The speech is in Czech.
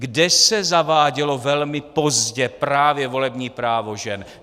Kde se zavádělo velmi pozdě právě volební právo žen?